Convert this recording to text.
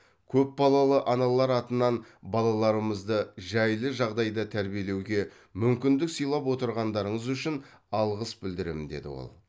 көпбалалы аналар атынан балаларымызды жайлы жағдайда тәрбиелеуге мүмкіндік сыйлап отырғандарыңыз үшін алғыс білдіремін деді ол